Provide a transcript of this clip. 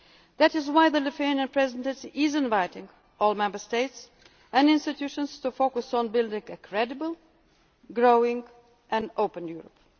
Union. That is why the Lithuanian Presidency is inviting all Member States and institutions to focus on building a credible, growing and open